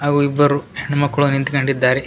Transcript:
ಅವು ಇಬ್ಬರು ಹೆಣ್ಣ್ ಮಕ್ಕ್ಳು ನಿಂತ್ಕಂಡಿದ್ದಾರೆ.